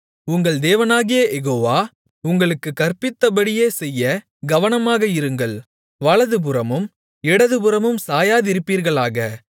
உங்கள் தேவனாகிய யெகோவா உங்களுக்குக் கற்பித்தபடியே செய்ய கவனமாக இருங்கள் வலதுபுறமும் இடதுபுறமும் சாயாதிருப்பீர்களாக